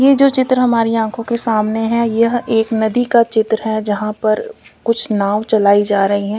ये जो चित्र हमारी आंखों के सामने है यह एक नदी का चित्र है जहां पर कुछ नाव चलायी जा रही है।